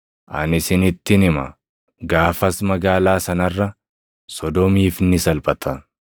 Ani isinittin hima; gaafas magaalaa sana irra Sodoomiif ni salphata.